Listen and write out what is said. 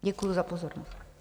Děkuji za pozornost.